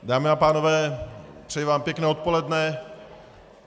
Dámy a pánové, přeji vám pěkné odpoledne.